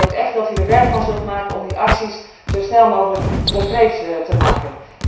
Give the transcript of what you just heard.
Ik hoop dus ook echt dat u er werk van zult maken om die acties zo snel mogelijk concreet te maken.